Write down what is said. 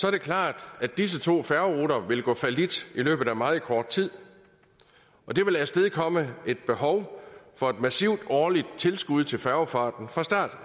er det klart at disse to færgeruter vil gå fallit i løbet af meget kort tid og det vil afstedkomme et behov for et massivt årligt tilskud til færgefarten fra